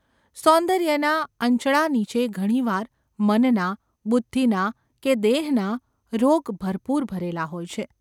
સૌંદર્યના અંચળા નીચે ઘણી વાર મનના, બુદ્ધિના કે દેહના રોગ ભરપૂર ભરેલા હોય છે.